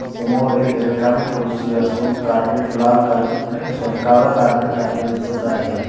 समोर एक रिकामी खुर्ची असून कारपेट लाल कल नाही नाही सॉरी काळं कार्पेट टाकलेल दिसत आहे.